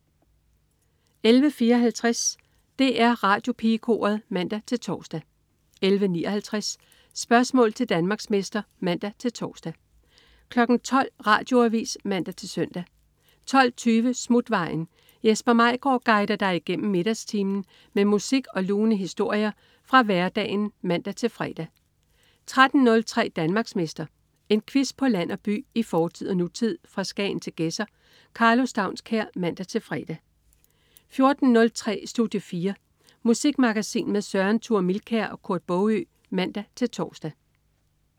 11.54 DR Radiopigekoret (man-tors) 11.59 Spørgsmål til Danmarksmester (man-tors) 12.00 Radioavis (man-søn) 12.20 Smutvejen. Jesper Maigaard guider dig igennem middagstimen med musik og lune historier fra hverdagen (man-fre) 13.03 Danmarksmester. En quiz på land og by, i fortid og nutid, fra Skagen til Gedser. Karlo Staunskær (man-fre) 14.03 Studie 4. Musikmagasin med Søren Thure Milkær og Kurt Baagø (man-tors)